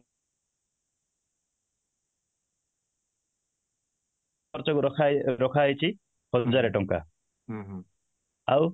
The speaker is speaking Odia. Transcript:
ଖର୍ଚ୍ଚ କୁ ରଖାଯାଇଛି ହଜାରେ ଟଙ୍କା ଆଉ